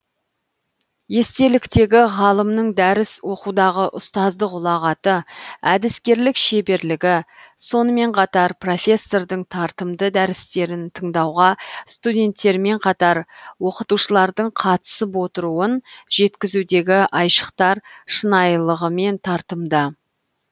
естеліктегі ғалымның дәріс оқудағы ұстаздық ұлағаты әдіскерлік шеберлігі сонымен қатар профессордың тартымды дәрістерін тыңдауға студенттермен қатар оқытушылардың қатысып отыруын жеткізудегі айшықтар шынайығымен тартымды